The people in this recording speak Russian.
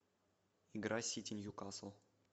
игра сити ньюкасл